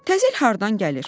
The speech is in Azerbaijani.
Təzə il hardan gəlir?